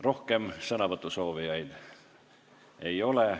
Rohkem sõnasoovijaid ei ole.